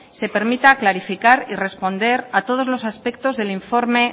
se permita clarificar y responder a todos los aspectos del informe